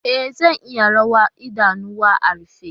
E, zan iya rawa idanuwana a rufe.